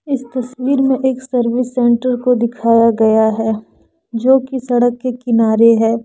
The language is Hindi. इस तस्वीर में एक सर्विस सेंटर को दिखाया गया है जो की सड़क के किनारे है।